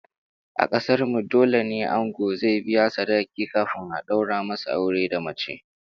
A kasar mu dole ne ango zai biya sadakin kafin a daura masa aure da mace